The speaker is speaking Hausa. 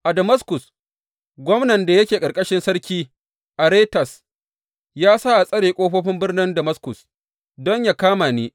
A Damaskus, gwamnan da yake ƙarƙashin Sarki Aretas, ya sa tsare ƙofofin birnin Damaskus, don yă kama ni.